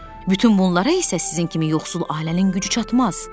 Bütün bunlara isə sizin kimi yoxsul ailənin gücü çatmaz.